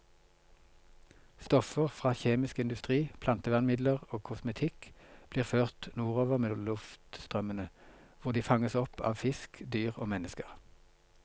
Stoffer fra kjemisk industri, plantevernmidler og kosmetikk blir ført nordover med luftstrømmene, hvor de fanges opp av fisk, dyr og mennesker.